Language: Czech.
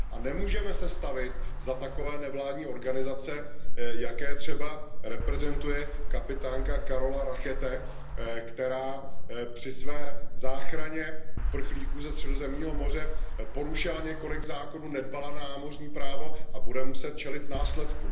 Nemůžeme se stavět za takové nevládní organizace, jaké třeba reprezentuje kapitánka Carola Racket, která při své záchraně uprchlíků ze Středozemního moře porušila několik zákonů, nedbala na námořní právo a bude muset čelit následkům.